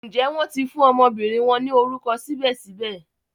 Njé wón ti fún ọmọbìnrin wón ni orúkọ sibẹsibẹ?